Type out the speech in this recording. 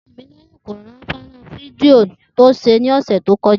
Tìmílé̩yìn kò rí fó̩nrán fídíò tí ó s̩e ní ò̩sè̩ tó ko̩ja